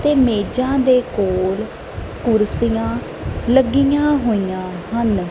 ਤੇ ਮੇਜਾਂ ਦੇ ਕੋਲ ਕੁਰਸੀਆਂ ਲੱਗੀਆਂ ਹੋਈਆਂ ਹਨ।